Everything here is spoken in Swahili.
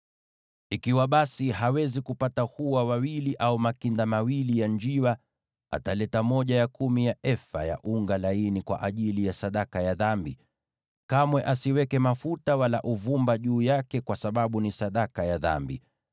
“ ‘Ikiwa basi, hawezi kupata hua wawili au makinda mawili ya njiwa, ataleta sehemu ya kumi ya efa ya unga laini kwa ajili ya sadaka ya dhambi. Kamwe asiweke mafuta wala uvumba juu yake, kwa sababu ni sadaka ya dhambi.